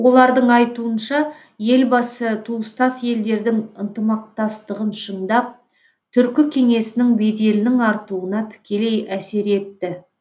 олардың айтуынша елбасы туыстас елдердің ынтымақтастығын шыңдап түркі кеңесінің беделінің артуына тікелей әсер етті